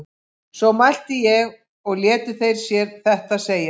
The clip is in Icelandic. Svo mælti ég og létu þeir sér þetta segjast.